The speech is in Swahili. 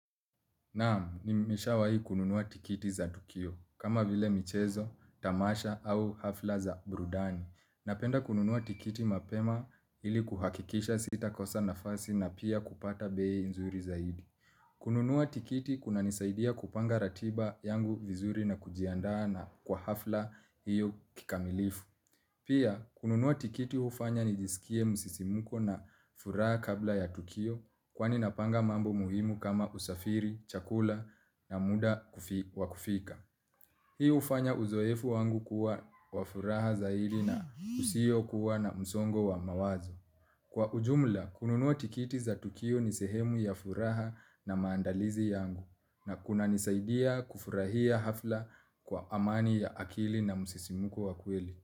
Naam, nimeshawai kununua tikiti za tukio, kama vile michezo, tamasha au hafla za brudani. Napenda kununua tikiti mapema ili kuhakikisha sita kosa nafasi na pia kupata bei nzuri zaidi. Kununua tikiti kunanisaidia kupanga ratiba yangu vizuri na kujiandaa na kwa hafla hiyo kikamilifu. Pia, kununua tikiti hufanya nijisikie msisimuko na furaha kabla ya tukio kwani napanga mambo muhimu kama usafiri, chakula na muda wa kufika. Hii hufanya uzoefu wangu kuwa wa furaha zaidi na usio kuwa na msongo wa mawazo. Kwa ujumla, kununua tikiti za tukio ni sehemu ya furaha na maandalizi yangu na kunanisaidia kufurahia hafla kwa amani ya akili na msisimuko wa kweli.